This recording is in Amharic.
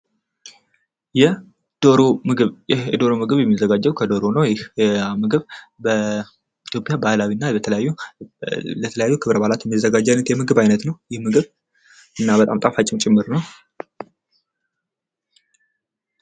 የዶሮ ምግብ የዶሮ ምግብ የሚዘጋጀው ከዶሮ ነው ይህ ምግብ በኢትዮጵያ ባህላዊና ለተለያዩ ክብረ በዓላት የሚዘጋጅ አይነት የምግብ አይነት ነው ይህ የምግብ እና በጣም ጣፋጭ ነው።